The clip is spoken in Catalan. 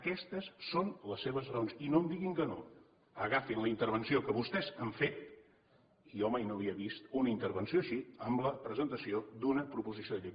aquestes són les seves raons i no em diguin que no agafin la intervenció que vostès han fet i jo mai no havia vist una intervenció així en la presentació d’una proposició de llei